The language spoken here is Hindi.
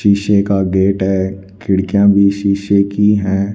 शीशे का गेट है खिड़कियां भी शीशे की है।